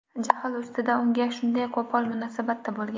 jahl ustida unga shunday qo‘pol munosabatda bo‘lgan.